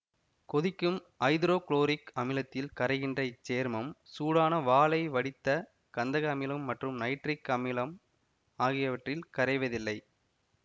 கொதிக்கும் hydrochloric அமிலத்தில் கரைகின்ற இச்சேர்மம் சூடான வாலை வடித்த கந்தக அமிலம் மற்றும் நைட்ரிக் அமிலம் ஆகியவற்றில் கரைவதில்லை